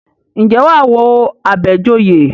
Ǹjẹ́ wà á wo Àbẹ̀joyè?